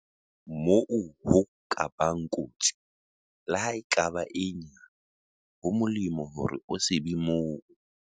Moo ho ka bang kotsi, leha e ka ba e nyane, ho molemo hore o se be moo.